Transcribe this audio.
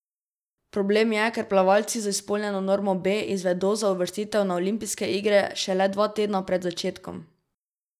Problem je, ker plavalci z izpolnjeno normo B izvedo za uvrstitev na olimpijske igre šele dva tedna pred začetkom.